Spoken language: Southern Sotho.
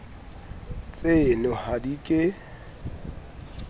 tseno ka ha di ke